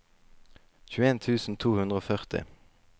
tjueen tusen to hundre og førti